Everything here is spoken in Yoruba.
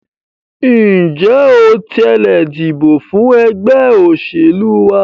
Ǹjẹ́ o tilẹ̀ dìbò fún ẹgbẹ́ òṣèlú wa?